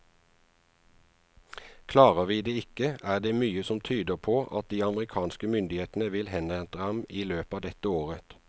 Klarer vi det ikke, er det mye som tyder på at de amerikanske myndighetene vil henrette ham i løpet av dette året.